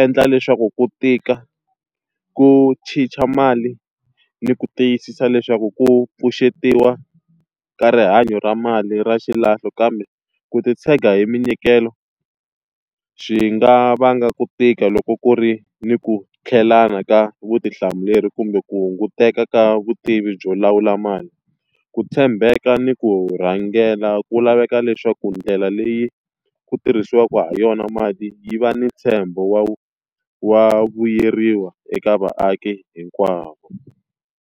endla leswaku ku tika ku chicha mali ni ku tiyisisa leswaku ku pfuxetiwa ka rihanyo ra mali ra xilahlo. Kambe ku titshega hi minyikelo, swi nga vanga ku tika loko ku ri ni ku tlhelana ka vutihlamuleri kumbe ku hunguteka ka vutivi byo lawula mali. Ku tshembeka ni ku rhangela ku laveka leswaku ndlela leyi ku tirhisiwaka ha yona mati yi va ni ntshembo wa wa vuyeriwa eka vaaki hinkwavo.